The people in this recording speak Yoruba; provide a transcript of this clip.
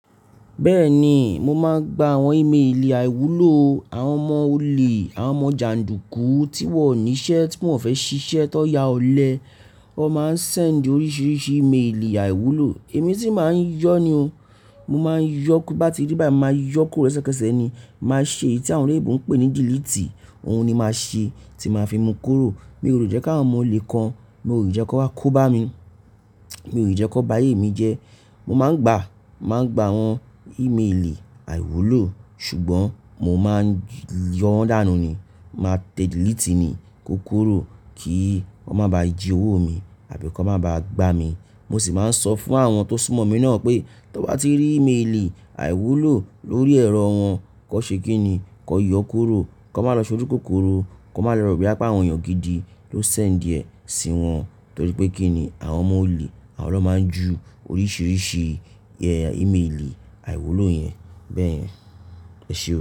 Bẹ́ẹ̀ni, mo máa ń gba àwọn ìmeèlì àìwúlò àwọn ọmọ olè, àwọn ọmọ jàndùkú tí wọn ò ní iṣẹ́ tí wọ́n fẹ́ ṣiṣẹ́ tó ya ọlẹ. Wọ́n máa ń sẹ̀ndì oríṣiríṣi ìmeèlì àìwúlò èmi sì máa ń yọ ni o. Mo máa ń yọ tí n bá ti rí báyìí, mo màá yọ kúrò lesekẹ́ṣẹ́ ni. Màá ṣe èyí tí àwọn èyí ti awón oloyìnbò ń pè ní delete. Òhun ni màá ṣe tí màá fi mú kúrò. Mi ò le jẹ́ kí àwọn ọmọ olè kan, mi ò le jẹ́ kan wa kó bá mi, mi ò le jẹ́ kan bá ayé mi jẹ. Mo máa ń gba, máa ń gba àwọn ìmeèlì àìwúlò ṣùgbọ́n mo máa ń yọo dànù ni. Màá tẹ delete ni kókuró kí wọ́n máa ba à jí owó mi àbí kí wọ́n máa ba à gbá mi. Mo sì máa ń sọ fún àwọn tó súnmọ́ mi náà pé tí wọ́n bá ti rí ìmeèlì àìwúlò lórí ẹ̀rọ wọn, kí wọ́n ṣe kí ni? Kí wọ́n yọ kúrò, kí wọ́n máa lọ ṣoju kókóró, kí wọ́n máa lọ rò boya pe àwọn èèyàn gidi ló sẹ̀ndì ẹ sí wọn. Nítorí pé kíni àwọn ọmọ olè àwọn lọ́ máa ń ju oríṣiríṣi ìmeèlì àìwúlò yẹn bẹ́ẹ̀. Ẹ ṣé o.